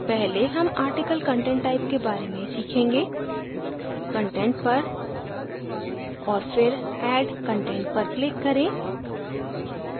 पहले हम article content type के बारे में सीखेंगे content पर और फिर add content पर click करें